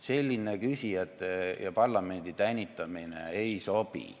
Selline küsijate ja parlamendi tänitamine ei sobi.